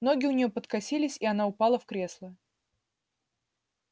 ноги у нее подкосились и она упала в кресло